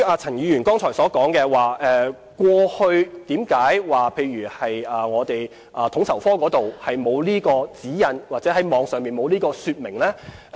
陳議員剛才提及，過去為何統籌科沒有相關指引或網站沒有相關說明呢？